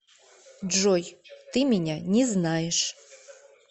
джой ты меня не знаешь